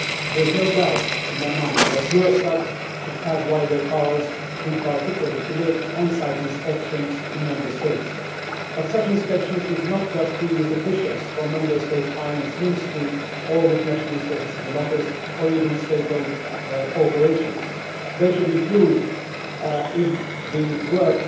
There is no doubt in my mind that Eurostat should have wider powers, in particular, to make on site inspections in Member States. But such inspections should not just be with officials from the Member State's Finance Ministry or with national statistical authorities or even with state owned corporations they should include, if the work